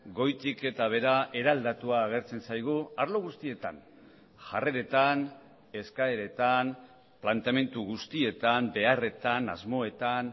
goitik eta behera eraldatua agertzen zaigu arlo guztietan jarreretan eskaeretan planteamendu guztietan beharretan asmoetan